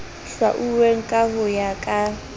hlwauweng ka ho ya ka